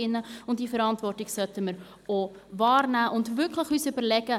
Diese Verantwortung sollten wir auch wahrnehmen und uns wirklich überlegen: